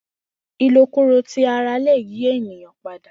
Ilokulo ti ara le yi eniyan pada.